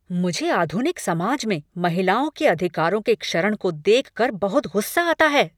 मुझे आधुनिक समाज में महिलाओं के अधिकारों के क्षरण को देख कर बहुत गुस्सा आता है।